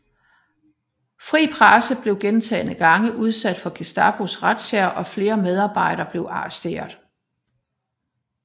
Fri Presse blev gentagne gange udsat for Gestapos razziaer og flere medarbejdere blev arresteret